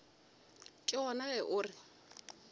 ke gona ge o re